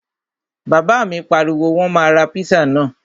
Bàbá mi pariwo, Wọ́n máa ra píṣà náà!